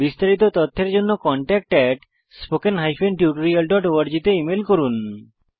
বিস্তারিত তথ্যের জন্য contactspoken tutorialorg তে ইমেল করুন